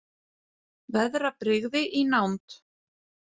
Veðrabrigði í nánd